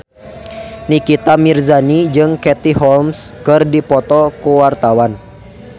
Nikita Mirzani jeung Katie Holmes keur dipoto ku wartawan